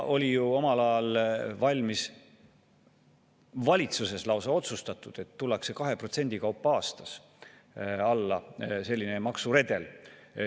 Oli ju omal ajal valitsuses lausa otsustatud, et tullakse aastas 2% kaupa alla, selline maksuredel.